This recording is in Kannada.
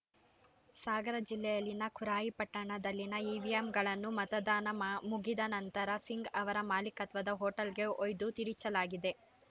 ಸಾಗರ್‌ ಜಿಲ್ಲೆಯಲ್ಲಿನ ಖುರಾಯಿ ಪಟ್ಟಣದಲ್ಲಿನ ಇವಿಎಂಗಳನ್ನು ಮತದಾನ ಮ ಮುಗಿದ ನಂತರ ಸಿಂಗ್‌ ಅವರ ಮಾಲೀಕತ್ವದ ಹೋಟೆಲ್‌ಗೆ ಒಯ್ದು ತಿರುಚಲಾಗಿದೆ